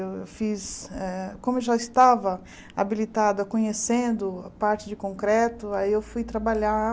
Eu fiz, eh como eu já estava habilitada, conhecendo a parte de concreto, aí eu fui trabalhar